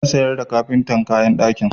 Zan sayar wa kafintar kayan ɗaki.